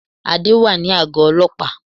Adé wà ní àgó ọlọ́pàá